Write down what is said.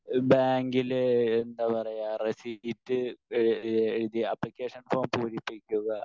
speaker 1 ബാങ്കിലെ എന്താ പറയുക റസീപ്റ്റ് എ എഴുതി ആപ്ലിക്കേഷൻ ഫോം പൂരിപ്പിയ്ക്കുക